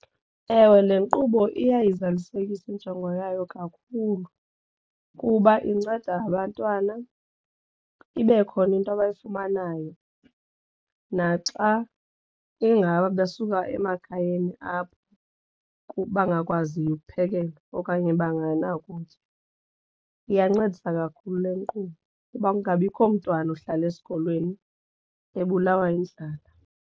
Ewe, le nkqubo iyayizalisekisa injongo yayo kakhulu kuba inceda abantwana ibe khona into abayifumanayo naxa ingaba besuka emakhayeni apho bangakwaziyo ukuphekelwa okanye bengenakutya iyancedisa kakhulu le nkqubo kuba kungabikho mntwana uhlala esikolweni ebulawa yindlala.